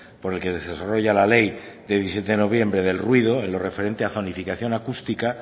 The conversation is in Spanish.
por el que se desarrolla la ley de diecisiete de noviembre del ruido en lo referente a zonacificación acústica